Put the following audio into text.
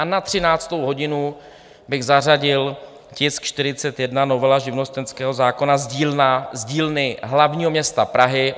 A na 13. hodinu bych zařadil tisk 41, novela živnostenského zákona z dílny hlavního města Prahy.